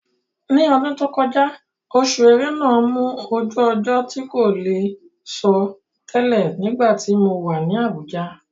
Ní ọdún tó kọjá, Oṣù Ẹrẹ́nà mú ojú ọjọ́ tí kò lè sọ tẹlẹ̀ nígbàtí mo wà ní Àbújá.